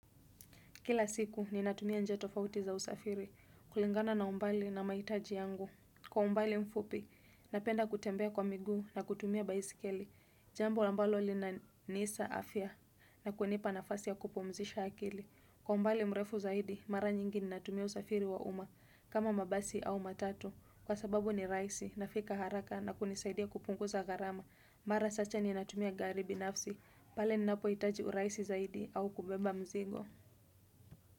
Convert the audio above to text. Kila siku ninatumia njia tofauti za usafiri kulingana na umbali na mahitaji yangu. Kwa umbali mfupi, napenda kutembea kwa miguu na kutumia baisikeli. Jambo ambalo linanisa afya na kunipa nafasi ya kupumzisha akili. Kwa umbali mrefu zaidi, mara nyingi ninatumia usafiri wa umma kama mabasi au matatu. Kwa sababu ni rahisi nafika haraka na kunisaidia kupunguza gharama. Mara sacha ni natumia garibi nafsi. Pale ninapo hitaji urahisi zaidi au kubeba mzigo.